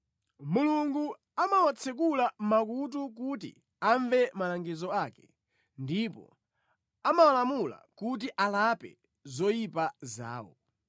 Mulungu amawatsekula makutu kuti amve malangizo ake ndipo amawalamula kuti alape zoyipa zawo.